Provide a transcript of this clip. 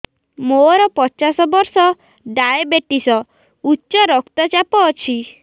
ମୋର ପଚାଶ ବର୍ଷ ଡାଏବେଟିସ ଉଚ୍ଚ ରକ୍ତ ଚାପ ଅଛି